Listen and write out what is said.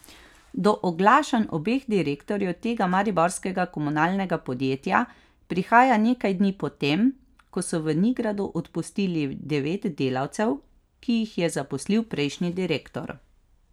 Do oglašanj obeh direktorjev tega mariborskega komunalnega podjetja prihaja nekaj dni potem, ko so v Nigradu odpustili devet delavcev, ki jih je zaposlil prejšnji direktor.